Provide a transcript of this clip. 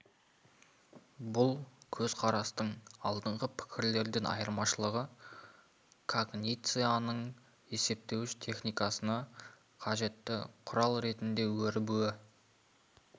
бұл көзқарастың алдыңғы пікірлерден айырмашылығы когницияның есептеуіш техникасына қажетті құрал ретінде өрбуі